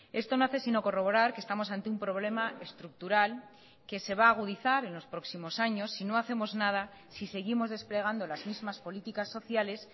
esto no hace sino corroborar que estamos ante un problema estructural que se va a agudizar en los próximos años si no hacemos nada si seguimos desplegando las mismas políticas sociales